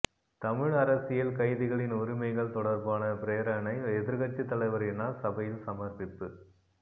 தமிழ் அரசியல் கைதிகளின் உரிமைகள் தொடர்பான பிரேரணை எதிர்க்கட்சித் தலைவரினால் சபையில் சமர்ப்பிப்பு